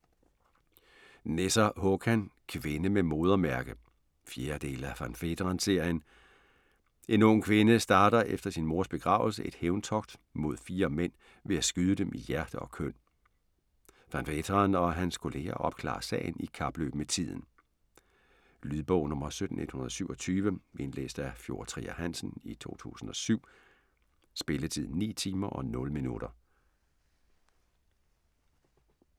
Nesser, Håkan: Kvinde med modermærke 4. del af Van Veeteren-serien. En ung kvinde starter efter sin mors begravelse et hævntogt mod fire mænd ved at skyde dem i hjerte og køn. Van Veeteren og hans kolleger opklarer sagen i kapløb med tiden. Lydbog 17127 Indlæst af Fjord Trier Hansen, 2007. Spilletid: 9 timer, 0 minutter.